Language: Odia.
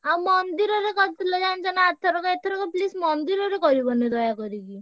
ଆଉ ମନ୍ଦିରରେ କରିଥିଲେ ଜାଣିଚ ନା ଆରଥରକ, ଏଥରକ please ମନ୍ଦିରରେ କରିବନି ଦୟାକରିକି।